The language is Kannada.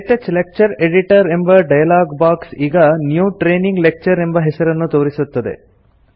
ಕ್ಟಚ್ ಲೆಕ್ಚರ್ ಎಡಿಟರ್ ಎಂಬ ಡಯಲಾಗ್ ಬಾಕ್ಸ್ ಈಗ ನ್ಯೂ ಟ್ರೇನಿಂಗ್ ಲೆಕ್ಚರ್ ಎಂಬ ಹೆಸರನ್ನು ತೋರಿಸುತ್ತದೆ